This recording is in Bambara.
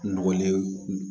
Nɔgɔlen